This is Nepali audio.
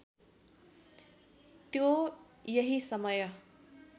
त्यो यही समय